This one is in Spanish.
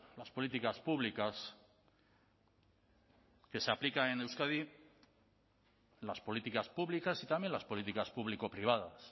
las políticas públicas que se aplican en euskadi las políticas públicas y también las políticas público privadas